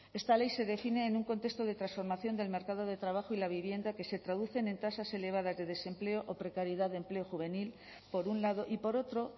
esta ley se define en un contexto de transformación del mercado de trabajo y la vivienda que se traducen en tasas elevadas de desempleo o precariedad de empleo juvenil por un lado y por otro